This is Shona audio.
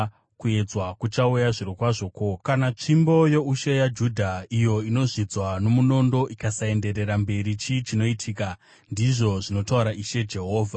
“ ‘Kuedzwa kuchauya zvirokwazvo. Ko, kana tsvimbo youshe yaJudha, iyo inozvidzwa nomunondo, ikasaenderera mberi chii chinoitika? ndizvo zvinotaura Ishe Jehovha.’